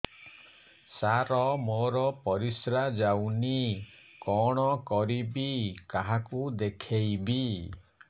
ସାର ମୋର ପରିସ୍ରା ଯାଉନି କଣ କରିବି କାହାକୁ ଦେଖେଇବି